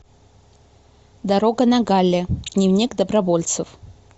дорога на галле дневник добровольцев